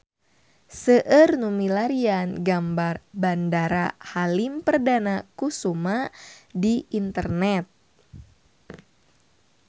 Seueur nu milarian gambar Bandara Halim Perdana Kusuma di internet